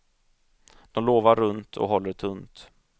De lovar runt och håller tunt.